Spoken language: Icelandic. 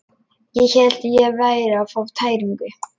Ég hélt ég væri að fá tæringu.